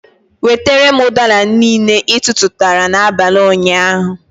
Wetere m udara niile, ị tụụrụ n'abalị ụnyaahụ!